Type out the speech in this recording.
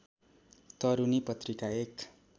तरूनी पत्रिका एक